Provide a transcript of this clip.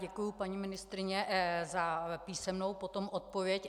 Děkuji, paní ministryně, za písemnou potom odpověď.